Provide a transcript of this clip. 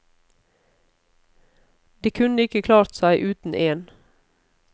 De kunne ikke klart seg uten én.